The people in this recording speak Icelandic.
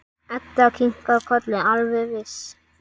Edda kinkar kolli, alveg viss.